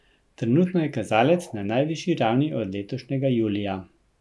Trenutno je kazalec na najvišji ravni od letošnjega julija.